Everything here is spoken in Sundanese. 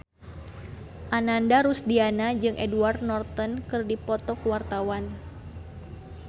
Ananda Rusdiana jeung Edward Norton keur dipoto ku wartawan